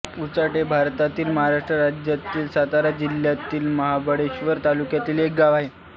उचाट हे भारतातील महाराष्ट्र राज्यातील सातारा जिल्ह्यातील महाबळेश्वर तालुक्यातील एक गाव आहे